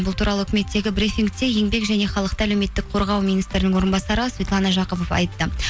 бұл туралы үкіметтегі брифингте еңбек және халықты әлеуметтік қорғау министрінің орынбасары светлана жақыпов айтты